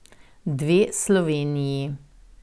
Dve Sloveniji.